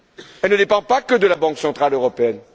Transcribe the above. Elle ne dépend pas que de la Banque centrale européenne.